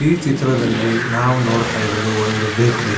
ಈ ಚಿತ್ರದಲ್ಲಿ ನಾವು ನೊಡ್ತಾ ಇರೋದು ಒಂದು ಬೇಕ್ರಿ .